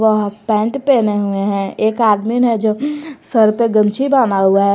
वह पैंट पहने हुए हैं एक आदमीन है जो सर पे गमछी बान्हा हुआ है।